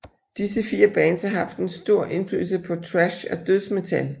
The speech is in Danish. Disse fire bands har haft en stor indflydelse på thrash og dødsmetal